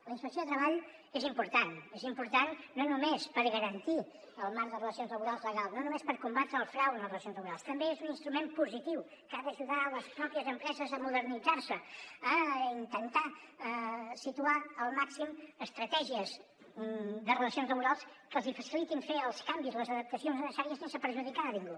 la inspecció de treball és important és important no només per garantir el marc de relacions laborals legal no només per combatre el frau en les relacions laborals també és un instrument positiu que ha d’ajudar les pròpies empreses a modernitzar se a intentar situar al màxim estratègies de relacions laborals que els hi facilitin fer els canvis les adaptacions necessàries sense perjudicar a ningú